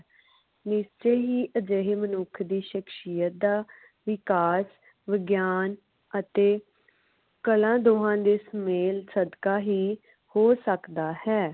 ਨਿਸ਼ਚੇ ਹੀ ਅਜਿਹੇ ਮਨੁੱਖ ਦੀ ਸ਼ਖ਼ਸ਼ੀਅਤ ਦਾ ਵਿਕਾਸ ਵਿਗਿਆਨ ਅਤੇ ਕਲਾ ਦੋਹਾ ਦੇ ਸੁਮੇਲ ਸਦਕਾ ਹੀ ਹੋ ਸਕਦਾ ਹੈ